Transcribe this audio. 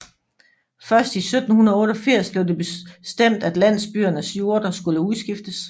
Først i 1788 blev det bestemt at landsbyernes jorder skulle udskiftes